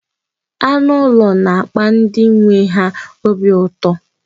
Anụ ụlọ na-akpa ndị nwe ha obi ụtọ.